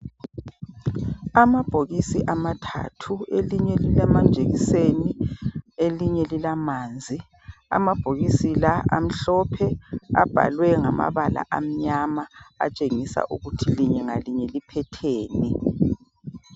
Amabhokisi amathathu elinye lilamajekiseni elinye lilamanzi amabhokisi la amhlophe abhalwe ngama bala amnyama atshengisa ukuthi linye ngalinye liphetheni.